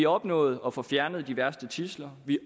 opnået at få fjernet de værste tidsler vi